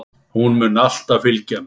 Hún mun alltaf fylgja mér.